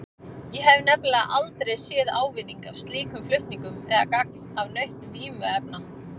Ég hef nefnilega aldrei séð ávinning af slíkum flutningum eða gagn af nautn vímuefna.